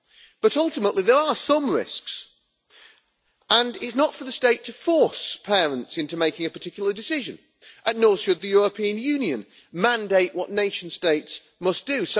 But, ultimately, there are some risks and it is not for the State to force parents into making a particular decision, and nor should the European Union mandate what nation states must do.